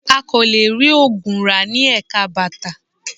A kò lè rí oògùn rà ní Ẹ̀ka bàtà